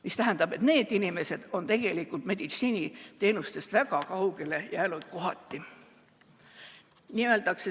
See tähendab, et need inimesed on meditsiiniteenustest kohati väga kaugele jäänud.